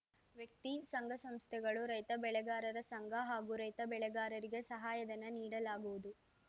ವ್ಯಕ್ತಿ ಸಂಘ ಸಂಸ್ಥೆಗಳು ರೈತ ಬೆಳೆಗಾರರ ಸಂಘ ಹಾಗೂ ರೈತ ಬೆಳೆಗಾರರಿಗೆ ಸಹಾಯಧನ ನೀಡಲಾಗುವುದು